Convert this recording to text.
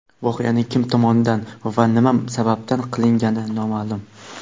Voqeaning kim tomonidan va nima sababdan qilingani noma’lum.